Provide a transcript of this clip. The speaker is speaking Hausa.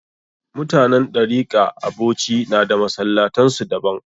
Mutanen Ɗarika a Bauchi na da masallatan su daban